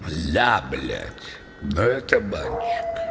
да бля да это кабанчик